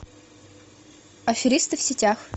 аферисты в сетях